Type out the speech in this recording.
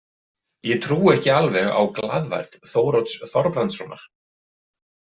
Ég trúi ekki alveg á glaðværð Þórodds Þorbrandssonar.